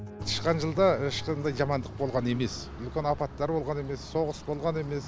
тышқан жылда ешқандай жамандық болған емес үлкен апаттар болған емес соғыс болған емес